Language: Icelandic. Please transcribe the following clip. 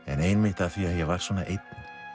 en einmitt af því að ég var svona einn